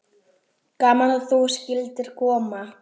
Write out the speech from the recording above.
Gaman að þú skyldir koma.